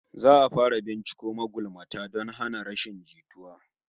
Za'a fara binciko magulmata don hana rashin jituwa